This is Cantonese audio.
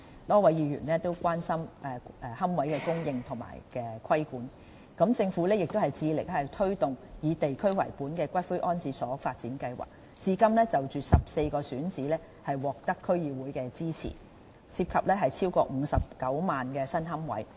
多位議員亦關心龕位的供應和規管，政府致力推動以地區為本的骨灰安置所發展計劃，至今已就14個選址獲得區議會支持，涉及超過59萬個新龕位。